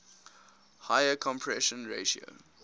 higher compression ratio